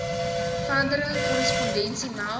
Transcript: verdere korrespondensie meld